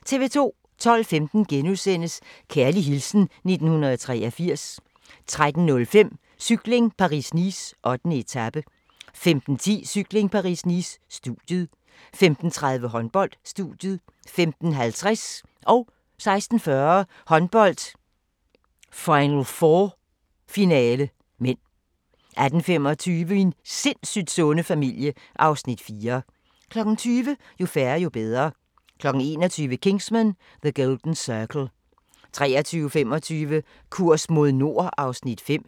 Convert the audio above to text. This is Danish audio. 12:15: Kærlig hilsen 1983 * 13:05: Cykling: Paris-Nice - 8. etape 15:10: Cykling: Paris-Nice - studiet 15:30: Håndbold: Studiet 15:50: Håndbold: Final 4 - finale (m) 16:40: Håndbold: Final 4 - finale (m) 18:25: Min sindssygt sunde familie (Afs. 4) 20:00: Jo færre, jo bedre 21:00: Kingsman: The Golden Circle 23:25: Kurs mod nord (Afs. 5)